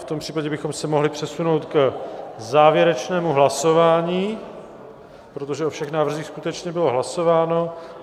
V tom případě bychom se mohli přesunout k závěrečnému hlasování, protože o všech návrzích skutečně bylo hlasováno.